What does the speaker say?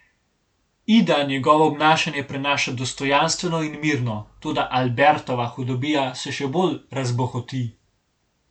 Ida njegovo obnašanje prenaša dostojanstveno in mirno, toda Albertova hudobija se še bolj razbohoti.